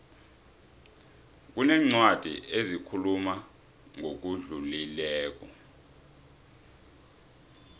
kunencwadi ezikhuluma ngokudlulileko